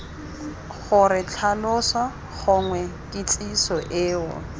gore tlhaloso gongwe kitsiso eo